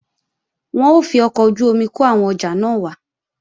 Wọn ó fi ọkọ̀ ojú-omi kó àwọn ọjà náà wá